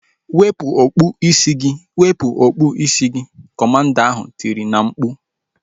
Wepụ okpu isi gị! Wepụ okpu isi gị! Kọmanda ahu tiri na mkpu